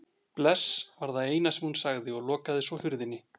Bless var það eina sem hún sagði og lokaði svo hurðinni.